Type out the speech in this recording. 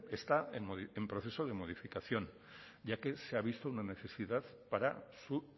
está en proceso de modificación ya que se ha visto una necesidad para su